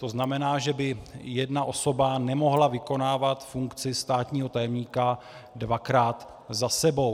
To znamená, že by jedna osoba nemohla vykonávat funkci státního tajemníka dvakrát za sebou.